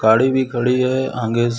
गाड़ी भी खड़ी है आगे।